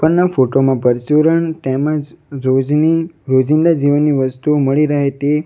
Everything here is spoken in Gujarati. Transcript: ઉપરના ફોટો માં પરચુરણ તેમજ રોજની રોજિંદા જીવનની વસ્તુઓ મળી રહે તે --